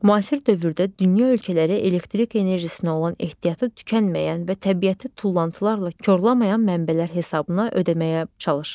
Müasir dövrdə dünya ölkələri elektrik enerjisinə olan ehtiyatı tükənməyən və təbiəti tullantılarla korlamayan mənbələr hesabına ödəməyə çalışır.